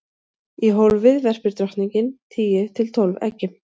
í hólfið verpir drottningin tíu til tólf eggjum